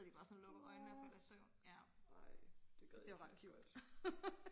nåå ej det gad jeg faktisk godt